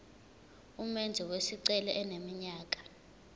umenzi wesicelo eneminyaka